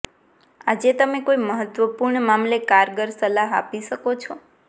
આજે તમે કોઈ મહત્વપૂર્ણ મામલે કારગર સલાહ આપી શકો છો